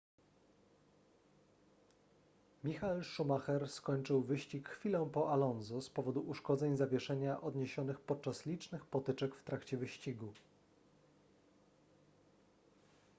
michael schumacher skończył wyścig chwilę po alonso z powodu uszkodzeń zawieszenia odniesionych podczas licznych potyczek w trakcie wyścigu